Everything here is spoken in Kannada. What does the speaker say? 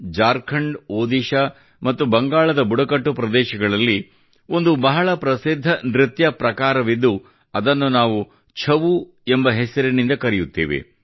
ಜಾರ್ಖಂಡ್ ಒಡಿಶಾ ಮತ್ತು ಬಂಗಾಳದ ಬುಡಕಟ್ಟು ಪ್ರದೇಶಗಳಲ್ಲಿ ಒಂದು ಬಹಳ ಪ್ರಸಿದ್ಧ ನೃತ್ಯ ಪ್ರಕಾರವಿದ್ದು ಅದನ್ನು ನಾವು ಛವು ಎಂಬ ಹೆಸರಿನಿಂದ ಕರೆಯುತ್ತೇವೆ